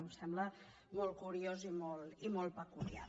em sembla molt curiós i molt peculiar